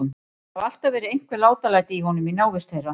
Það hafa alltaf verið einhver látalæti í honum í návist þeirra.